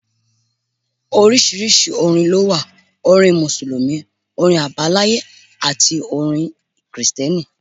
Oríṣiríṣi orin lówà; orin Mùsùlùmí, orin Àbáláyé àti orin kìrìtẹ̀ni.